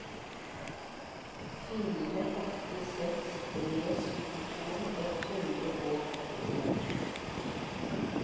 fire åtte seks tre syttito ett hundre og åttien